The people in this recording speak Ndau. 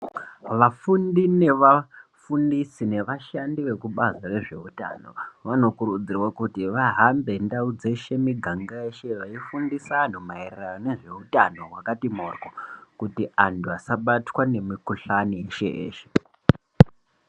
Vafundi nevafundisi nevashandi vekubazi rezveutano vanokurudzirwa kuti vahambe ,ndau dzeshe, miganga yeshe veifundisa anhu maererano nezveutano hwakati moryo ,kuti antu asabatwa nemikhuhlani yeshe-yeshe.